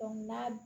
n'a